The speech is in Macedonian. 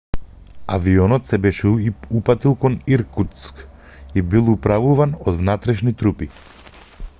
авионот се беше упатил кон иркутск и бил управуван од внатрешни трупи